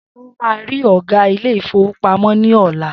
Seun má ri ògá Ilé-ìfowópamó ní ọ̀la